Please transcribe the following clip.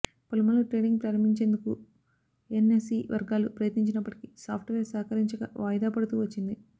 పలుమార్లు ట్రేడింగ్ ప్రారంభించేందుకు ఎన్ఎస్ఈ వర్గాలు ప్రయత్నించినప్పటికీ సాఫ్ట్వేర్ సహకరించక వాయిదాపడుతూ వచ్చింది